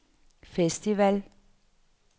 festival